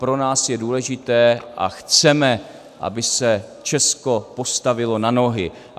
Pro nás je důležité a chceme, aby se Česko postavilo na nohy.